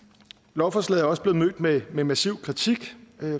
lovforslaget er også blevet mødt med massiv kritik